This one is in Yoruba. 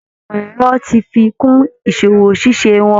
Ẹ̀ka ìmọ̀ ẹ̀rọ ti fi kún ìsọwọ́ ṣiṣẹ́ wọn